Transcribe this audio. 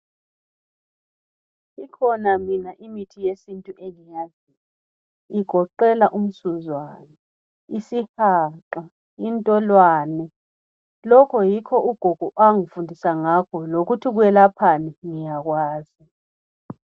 Ikhona mina imithi yesintu engiyaziyo igoqela umsuzwane, isihaqa, intolwane lokhu yikho ugogo anfundisa ngakho lokuthi kwelaphani nyakwazi.